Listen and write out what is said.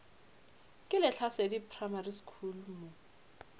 ke lehlasedi primary school mo